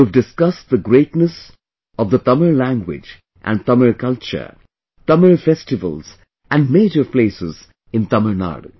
You have discussed the greatness of Tamil language and Tamil culture, Tamil festivals and major places in Tamil Nadu